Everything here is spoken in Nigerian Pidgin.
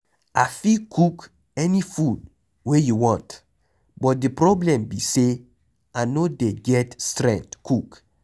I fit cook any food wey you want but the problem be say I no dey get strength cook.